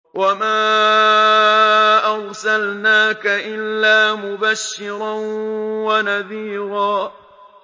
وَمَا أَرْسَلْنَاكَ إِلَّا مُبَشِّرًا وَنَذِيرًا